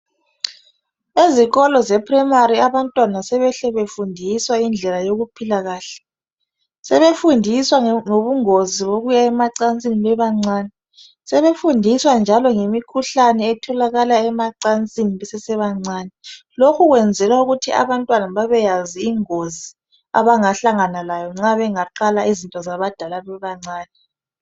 Ezikolo zeprimary abantwana sebehle befundiswe indlela yokuphila kahle sebefundiswa ngobungozi bokuya emacansini bebancane sebefundiswa njalo ngemikhuhlane etholakala emacansini besesebancane lokhu kwenzela ukuthi abantwana babeyazi ingozi abangahlangana lawo nxa bengaqala izinto zabadala bebancane.